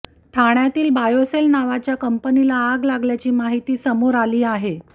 ठाण्यातील बायोसेल नावाच्या कंपनीला आग लागल्याची माहिती समोर आली आहे